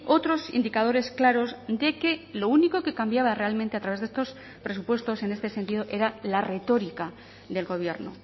otros indicadores claros de que lo único que cambiaba realmente a través de estos presupuestos en este sentido era la retórica del gobierno